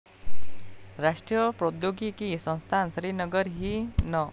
राष्ट्रीय प्रौद्योगिकी संस्थान, श्रीनगर ही न.